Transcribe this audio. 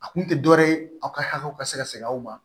A kun tɛ dɔ wɛrɛ ye aw ka hakɛw ka se ka sɛgɛn aw ma